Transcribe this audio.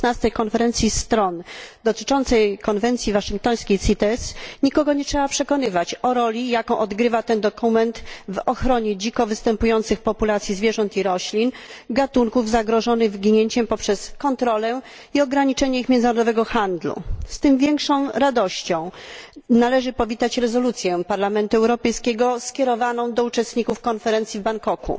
16. Konferencji Stron konwencji waszyngtońskiej CITES, nikogo nie trzeba przekonywać o roli, jaką odgrywa ten dokument w ochronie dziko występujących populacji zwierząt i roślin, gatunków zagrożonych wyginięciem, poprzez kontrolę i ograniczenie międzynarodowego handlu nimi. Z tym większą radością należy przyjąć rezolucję Parlamentu Europejskiego skierowaną do uczestników konferencji w Bangkoku.